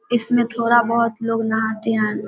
इसमें थोड़ा बहोत लोग नहाते --